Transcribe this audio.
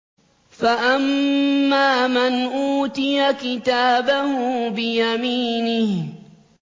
فَأَمَّا مَنْ أُوتِيَ كِتَابَهُ بِيَمِينِهِ